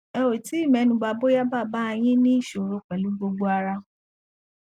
ẹ ò tí ì mẹnuba bóyá bàbá a yín ní ìsòro pẹlú gbogbo ara